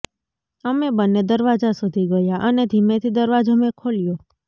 અમે બંને દરવાજા સુધી ગયા અને ધીમેથી દરવાજો મેં ખોલ્યો